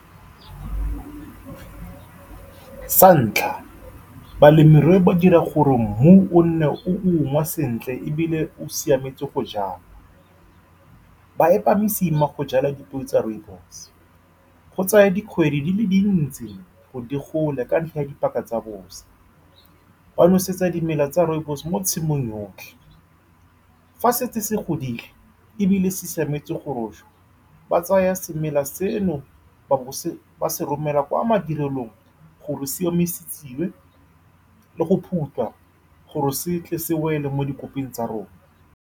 Sa ntlha, balemirui ba ka dira gore mmu o nne o ungwa sentle ebile o siametse go jala. Ba epa mosima go jala dipeo tsa rooibos-e. Go tsaya dikgwedi di le dintsi gore di gole ka ntlha ya dipaka tsa bosa, ba nosetsa dimela tsa rooibos-e mo tshimong yotlhe. Fa setse se godile ebile se siametse go rojwa, ba tsaya semela seno ba bo ba se romela kwa madirelong gore se omisitswe le go phutha, gore setle se wele mo dikoping tsa rona.